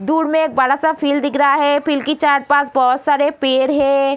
दूर में एक बड़ा सा फील्ड दिख रहा है फील्ड की चार पाँच बहुत सारे पेड़ हैं ।